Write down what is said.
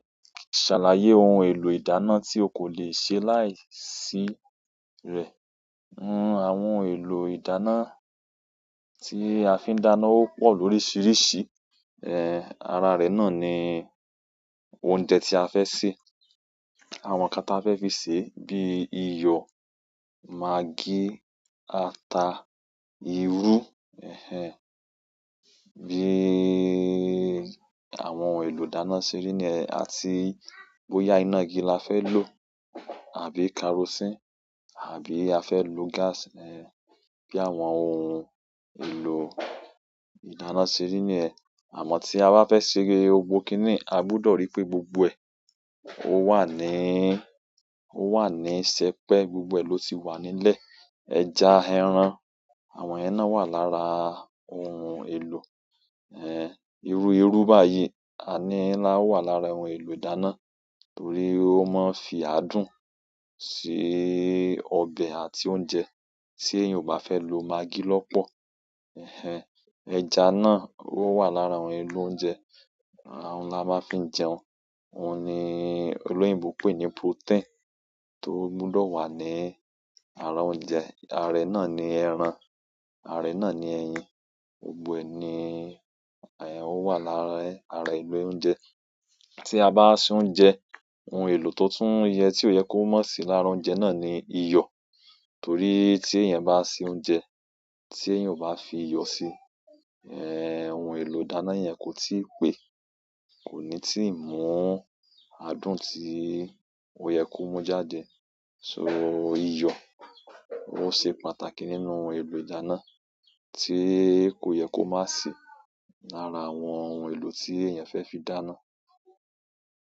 Ṣàlàyé ohun èlò ìdáná tí o kò lè ṣe láìsí rẹ̀. Ohun àwọn èlò ìdáná tí a fi ń dáná ó pọ̀ lóríṣiríṣi. Eh, ara rẹ̀ náà ni oúnjẹ tí a fẹ́ sè, àwọn nǹkan tí a fẹ́ fi sè é bíi iyọ̀, magí, ata, irú, ehn, bí i àwọn èlò ìdáná síríní ẹ, àti bóyá iná igi la fẹ́ lò àbí kerosíìnì àbí a fẹ́ lò gáàsì ni bí àwọn ohun èlò ìdáná síríní ẹ. Àmọ́ tí a bá fẹ́ ṣe e, gbogbo kiníi, a gbúdọ̀ ríi pé gbogbo ẹ, ó wà ní, ó wà ní sẹpẹ́, gbogbo ẹ ló ti wà nílẹ̀. Ẹja, ẹran, àwọn ẹna wà lára ohun èlò, ehn, irú-irú báyìí àní la wà lára ohun èlò ìdáná torí ó máa ń fi adùn sí ọbẹ̀ àti oúnjẹ, tí èèyàn ò bá fẹ́ lo magí lọ́pọ̀. Ehn, ẹja náà ó wà lára ohun èlò oúnjẹ. Àwọn la máa fi ń jẹun. Óun ni olóyinbó pè ní protein tó gbúdọ̀ wà ní ara oúnjẹ. Ààrẹ náà ni ẹran, ààrẹ náà ni ẹyin. Gbogbo ẹni, ehn, ó wà lára ara èlò oúnjẹ. Tí àbá ṣe oúnjẹ òun èlò to tun yẹ, ti o yẹ kó má si lára oúnjẹ naani iyọ torí tí èèyàn bá ṣe oúnjẹ tí èèyàn ò bá fi iyọ̀ sí, ehn, ohun èlò ìdáná yẹn kò tí ì pé, kò ní tí ì mú adùn tí ó yẹ kó mú jáde. So iyọ̀ ó ṣe pàtàkì nínú èlò ìdáná tí kò yẹ kó má sì lára àwọn ohun èlò tí èèyàn fẹ́ fi dáná.